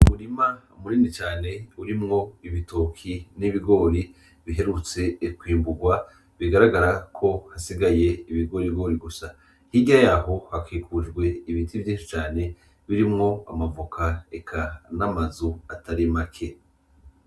Umurima munini cane urimwo ibitoke n'ibigori biherutse kwimburwa bigaragara ko hasigaye ibigorigori gusa hirya yaho hakikujwe ibiti vyishi cane birimwo amavoka reka n'amazu atari make.